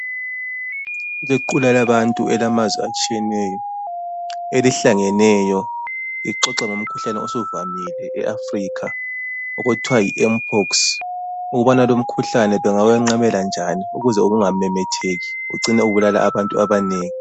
Kulequla labantu elamazwe atshiyeneyo elihlangeneyo lixoxa ngomkhuhlane osuvamile eAfrikha okuthiwa yiMpox. Ukubana lumkhuhlane bengawenqabela njani, ukuze ungamemetheki ucine ubulala abantu abanengi.